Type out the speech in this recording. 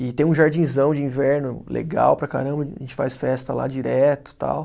E tem um jardinzão de inverno legal para caramba, a gente faz festa lá direto e tal.